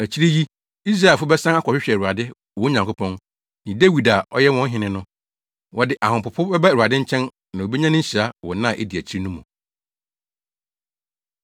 Akyiri yi, Israelfo bɛsan akɔhwehwɛ Awurade, wɔn Nyankopɔn, ne Dawid a ɔyɛ wɔn hene no. Wɔde ahopopo bɛba Awurade nkyɛn na wobenya ne nhyira wɔ nna a edi akyiri no mu.